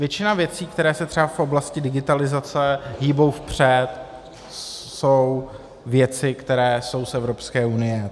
Většina věcí, které se třeba v oblasti digitalizace hýbou vpřed, jsou věci, které jsou z Evropské unie.